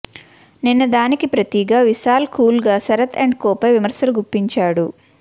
నిన్న దానికి ప్రతిగా విశాల్ కూల్ గా శరత్ అండ్ కోపై విమర్శలు గుప్పించాడు